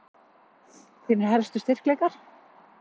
Þínir helstu styrkleikar?